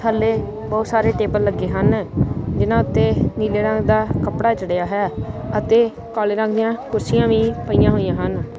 ਥਲੇ ਬਹੁਤ ਸਾਰੇ ਟੇਬਲ ਲੱਗੇ ਹਨ ਜਿਹਨਾਂ ਉੱਤੇ ਨੀਲੇ ਰੰਗ ਦਾ ਕੱਪੜਾ ਚੜਿਆ ਹੋਇਆ ਅਤੇ ਕਾਲੇ ਰੰਗ ਦੀਆਂ ੌਕੁਰਸੀਆਂ ਵੀ ਪਈਆਂ ਹੋਈਆਂ ਹਨ।